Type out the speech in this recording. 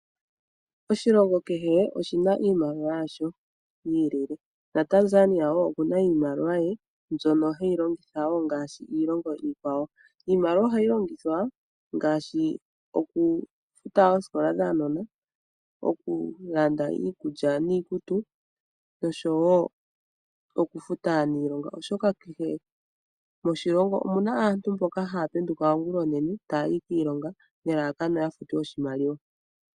Oshilongo kehe oshina iimaliwa yaasho yiilile naTanzania woo naye okuna iimaliwa ye ndjono heyi longitha gaashi iilongo iikwawo. Iimaliwa ohayi longithwa ngaashi okufuta oosikola dhuunona, okulanda iikulya niikutu nosho woo okufuta aanilonga oshoka kehe moshilongo omuna aantu mboka haa penduka ongulonene taayi kiilonga nelalakano oya futwe iimaliwa.